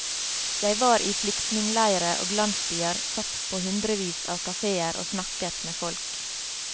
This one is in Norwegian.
Jeg var i flyktningeleire og landsbyer, satt på hundrevis av kafeer og snakket med folk.